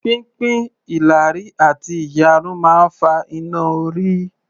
Pínpín ìlàrí àti ìyarun máa ń fa iná-orí